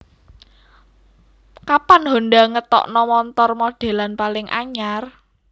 Kapan Honda ngetokno montor modelan paling anyar?